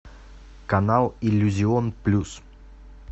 канал иллюзион плюс